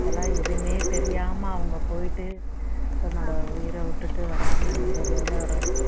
அதெல்லாம் எதுவுமே தெரியாம அவங்க போயிட்டு தன்னோட உயிரை விட்டுட்டு வர்றாங்கன்னும்போது எவ்வளவு